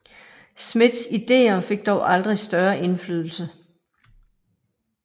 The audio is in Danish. Smiths ideer fik dog aldrig større indflydelse